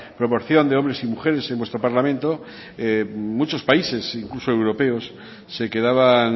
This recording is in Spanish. proporción de hombres y mujeres en vuestro parlamento muchos países incluso europeos se quedaban